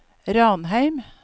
Ranheim